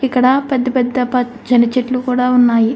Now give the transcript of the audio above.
ఇక్కడ పెద్ద పెద్ద పచ్చని చెట్లు కూడా ఉన్నాయి.